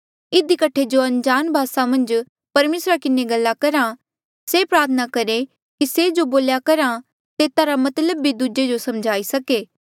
इधी कठे जो अनजाण भासा मन्झ परमेसरा किन्हें गल्ला करा से प्रार्थना करहे कि से जो बोल्हा तेता रा मतलब भी दूजे जो समझाई सके